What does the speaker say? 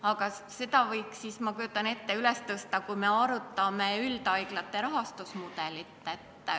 Ma kujutan ette, et selle teema võiks üles tõsta siis, kui me arutame üldhaiglate rahastusmudelit.